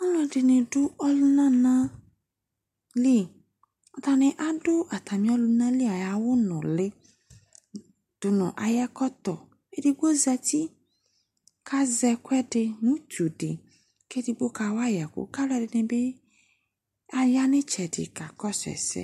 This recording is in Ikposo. Alʋɛdɩnɩ adʋ ɔlʋnana li Atanɩ adʋ atamɩ ɔlʋnali ayʋ awʋnʋlɩ dʋ nʋ ayʋ ɛkɔtɔ Edigbo zati kʋ azɛ ɛkʋɛdɩ mʋ utu dɩ kʋ edigbo kawa yɩ ɛkʋ kʋ alʋɛdɩnɩ bɩ aya nʋ ɩtsɛdɩ kakɔsʋ ɛsɛ